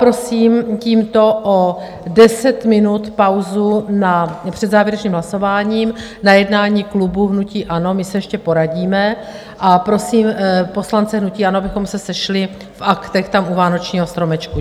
Prosím tímto o 10 minut pauzu před závěrečným hlasováním na jednání klubu hnutí ANO, my se ještě poradíme, a prosím poslance hnutí ANO, abychom se sešli v Aktech, tam u vánočního stromečku.